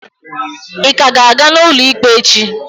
Ịka ga-aga n'ụlọ ikpe echi?